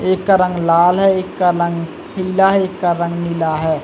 एक का रंग लाल है एक का रंग पीला है एक का रंग नीला है।